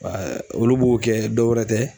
olu b'o kɛ dɔwɛrɛ tɛ